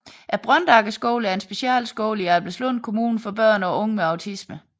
Brøndagerskolen er en specialskole i Albertslund Kommune for børn og unge med autisme